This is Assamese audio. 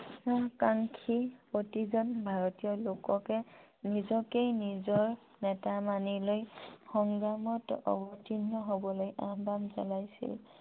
কাংক্ষী প্ৰতিজন ভাৰতীয় লোককে নিজকে নিজৰ নেতা মানি লৈ সংগ্ৰামত অৱতীৰ্ণ হবলৈ আহ্বান জনাইছিল